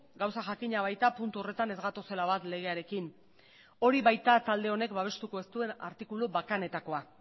gauza jakina baita puntu horretan ez gatozela bat legearekin hori baita talde honek babestuko ez duen artikulu bakanetakoa